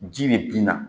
Ji bɛ bin na